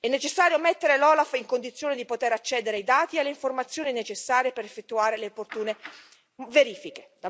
È necessario mettere l'OLAF in condizione di poter accedere ai dati e alle informazioni necessarie per effettuare le opportune verifiche.